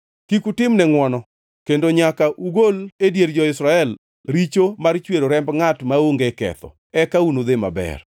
Kik utimne ngʼwono, kendo nyaka ugol e dier jo-Israel richo mar chwero remb ngʼat maonge ketho, eka unudhi maber.